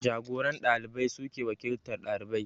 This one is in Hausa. Jagoran ɗalibai suke wakiltar ɗalibai